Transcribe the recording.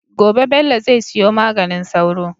Gobe Bello zai siyo maganin sauro